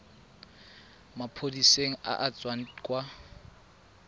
maphodiseng a a tswang kwa